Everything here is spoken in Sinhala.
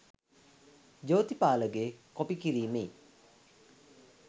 ජෝතිපාලගෙ කොපි කිරීමෙයි